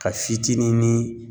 Ka fitinini